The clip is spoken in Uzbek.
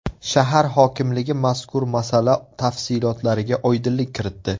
Shahar hokimligi mazkur masala tafsilotlariga oydinlik kiritdi .